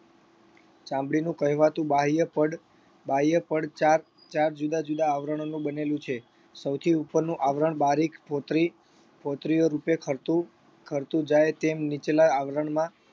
ચામડીનું કહેવાતું બાહ્ય પડ બાહ્ય પડ ચાર ચાર જુદા જુદા આવરણોનું બનેલું છે સૌથી ઉપરનું આવરણ બારીક ફોતરી ફોતરીઓ રૂપે ખરતું ખરતું જાય તેમ નીચલા આવરણમાં